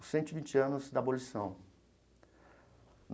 Os cento e vinte anos da abolição.